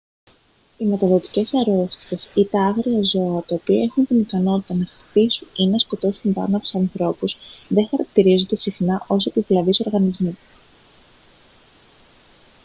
οι μεταδοτικές αρρώστιες ή τα άγρια ζώα τα οποία έχουν την ικανότητα να χτυπήσουν ή να σκοτώσουν βάναυσα ανθρώπους δεν χαρακτηρίζονται συχνά ως επιβλαβείς οργανισμοί